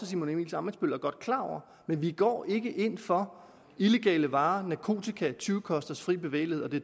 simon emil ammitzbøll godt er klar over men vi går ikke ind for illegale varer narkotika tyvekosters frie bevægelighed og det